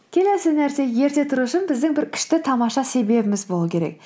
келесі нәрсе ерте тұру үшін біздің бір күшті тамаша себебіміз болу керек